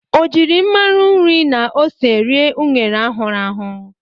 O jiri mmanụ nri na ose ri unere ahụru ahụ?